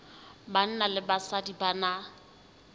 banna le basadi ba na